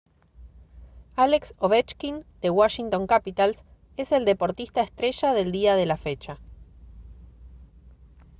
alex ovechkin de washington capitals es el deportista estrella del día de la fecha